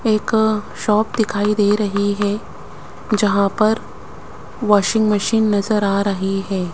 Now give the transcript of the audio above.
एक शॉप दिखाई दे रही हैं जहाँ पर वॉशिंग मशीन नजर आ रही हैं।